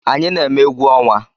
Anyi na-eme egwu ọnwa